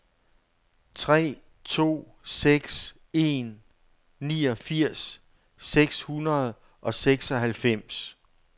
tre to seks en niogfirs seks hundrede og seksoghalvfems